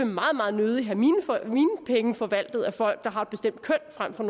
meget meget nødig have mine penge forvaltet af folk der har et bestemt køn frem for